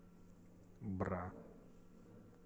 бра